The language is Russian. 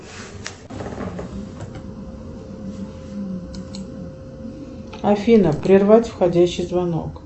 афина прервать входящий звонок